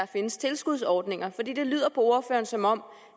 findes tilskudsordninger for det lyder på ordføreren som om